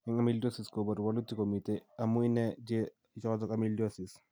Eng' amyloidosis koboru wolutik komitei amu ine dye ichotok amyloids